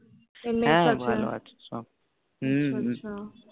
হ্য়াঁ ভালো আছে সব হম আছা আছা